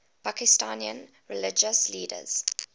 pakistani religious leaders